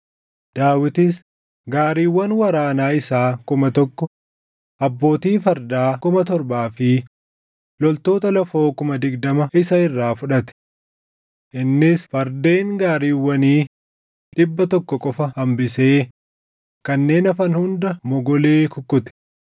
Daawitis gaariiwwan waraanaa isaa kuma tokko, abbootii fardaa kuma torbaa fi loltoota lafoo kuma digdama isa irraa fudhate. Innis fardeen gaariiwwanii dhibba tokko qofa hambisee kanneen hafan hunda mogolee kukkute.